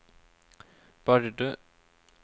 Bardu